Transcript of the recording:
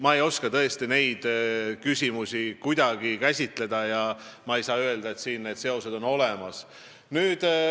Ma ei oska tõesti neid küsimusi kuidagi käsitleda ega saa öelda, et siin on need seosed olemas.